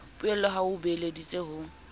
poello ha o beeleditse ho